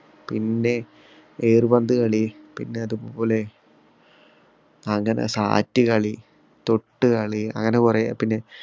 പിന്നെ ഏറു പന്ത് കളി പിന്നെ അതുപോലെ അങ്ങനെ sat കളി, തൊട്ടുകളി അങ്ങനെ കൊറേ പിന്നെ